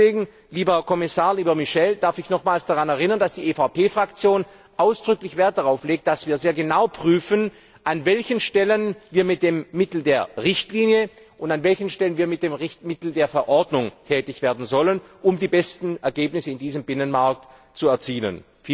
Deswegen, lieber Kommissar, lieber Michel, darf ich nochmals daran erinnern, dass die EVP Fraktion ausdrücklich Wert darauf legt, dass wir sehr genau prüfen, an welchen Stellen wir mit dem Mittel der Richtlinie und an welchen Stellen wir mit dem Mittel der Verordnung tätig werden sollen, um die besten Ergebnisse in diesem Binnenmarkt zu erzielen.